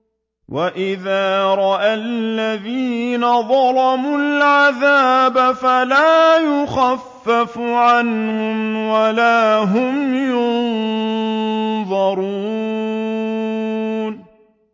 وَإِذَا رَأَى الَّذِينَ ظَلَمُوا الْعَذَابَ فَلَا يُخَفَّفُ عَنْهُمْ وَلَا هُمْ يُنظَرُونَ